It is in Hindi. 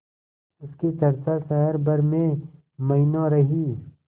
उसकी चर्चा शहर भर में महीनों रही